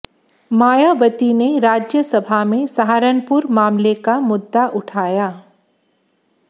मायावती ने राज्यसभा में सहारनपुर मामले का मुद्दा उठाया